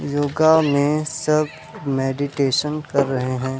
योगा में सब मैडिटेशन कर रहे हे।